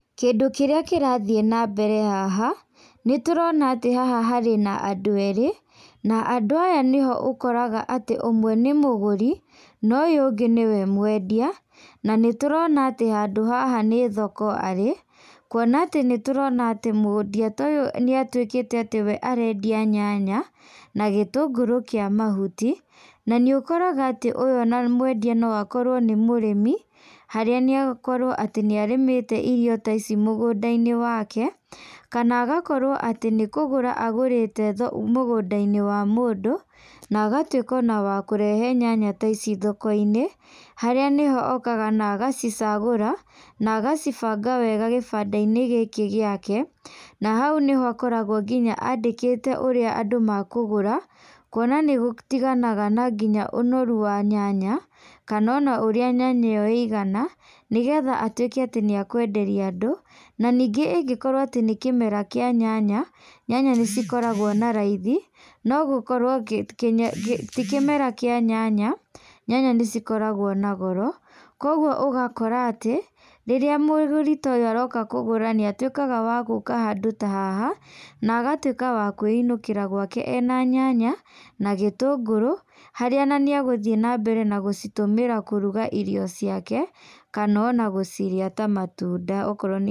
Kĩndũ kĩrĩa kĩrathiĩ na mbere haha, nĩ tũrona atĩ haha harĩ na andũ erĩ. Na andũ aya nĩho ũkoraga atĩ ũmwe nĩ mũgũri na ũyũ nĩwe mwendia. Na nĩ tũrona atĩ handũ haha nĩ thoko arĩ, kuona atĩ nĩ tũrona atĩ mwendia ta ũyũ nĩ atuĩkĩte atĩ we arendia nyanya na gĩtũngũrũ kĩa mahuti. Na nĩ ũkoraga atĩ ũyũ ona mwendia no akorwo nĩ mũrĩmi, harĩa no akorwo atĩ nĩ arĩmĩte irio ta ici mũgũnda-inĩ wake. Kana agakorwo atĩ nĩ kũgũra agũrĩte mũgũnda-inĩ wa mũndũ na agatuĩka ona wakũrehe nyanya ta ici thoko-inĩ. Harĩa nĩho okaga na agacicagũra na agacibanga wega kĩbanda-inĩ gĩkĩ gĩake. Na hau nĩho akoragwo nginya andĩkĩte ũrĩa andũ makũgũra, kuona nĩ gũtiganaga na nginya ũnoru wa nyanya kana ona ũrĩa nyanya ĩyo ĩigana, nĩgetha atuĩke atĩ nĩ ekwenderia andũ. Na ningĩ ĩngĩkorwo atĩ nĩ kĩmera kĩa nyanya, nyanya nĩ cikoragwo na raithi. No gũkorwo ti kĩmera kĩa nyanya, nyanya nĩ cikoragwo na goro. Koguo ũgakora atĩ rĩrĩa mũgũri ta ũyũ aroka kũgũra nĩ atuĩkaga wa gũka handũ ta haha na agatuĩka wa kwĩinũkĩra gwake ena nyanya na gĩtũngũrũ. Harĩa ona nĩ egũthiĩ na mbere na gũcitũmĩra kũruga irio ciake kana ona gũcirĩa ta matunda okorwo nĩ...